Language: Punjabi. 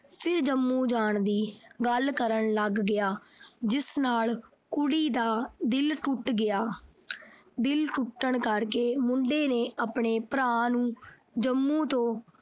ਫਿਰ ਜੰਮੂ ਜਾਣ ਦੀ ਗੱਲ ਕਰਨ ਲੱਗ ਪਿਆ। ਜਿਸ ਕਰਕੇ ਕੁੜੀ ਦਾ ਦਿਲ ਟੁੱਟ ਗਿਆ। ਦਿਲ ਟੁੱਟਣ ਕਰਕੇ ਮੁੰਡੇ ਨੇ ਆਪਣੇ ਭਰਾ ਨੂੰ ਜੰਮੂ ਤੋਂ